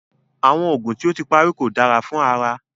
Awọn oogun ti o ti pari ko dara fun ara